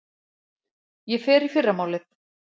Ég fer í fyrramálið.